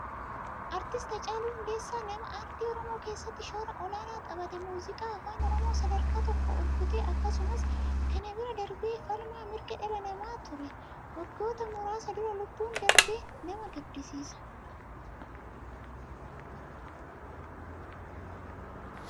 Artist Hacaaluu Hundeessaa nama aartii oromoo keessatti shoora olaanaa tapahatee muuziqaa afaan oromoo sadarkaa tokko ol butee akkasumas kana bira darbee falmaa mirga dhala namaa ture. Waggoota muraasa dura lubbuun darbe nama gaddisiisa.